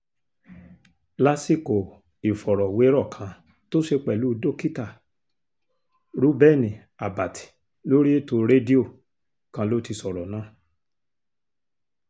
lásìkò ìfọ̀rọ̀wérọ̀ kan tó ṣe pẹ̀lú dókítà rèubeni àbàtì lórí ètò rédíò kan ló ti sọ̀rọ̀ náà